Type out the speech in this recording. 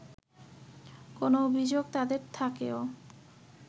কোন অভিযোগ তাঁদের থাকেও